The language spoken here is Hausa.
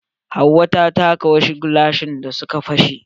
Hauwa ta taka wasu gilashin da suka pashe.